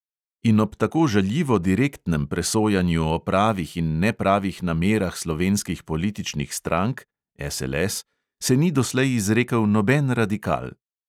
In ob tako žaljivo direktnem presojanju o pravih in nepravih namerah slovenskih političnih strank se ni doslej izrekel noben radikal.